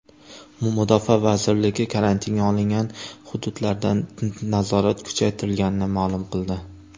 Mudofaa vazirligi karantinga olingan hududlarda nazorat kuchaytirilganini ma’lum qildi .